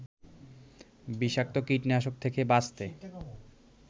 বিষাক্ত কীটনাশক থেকে বাঁচতে